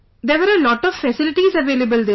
There were a lot of facilities available there sir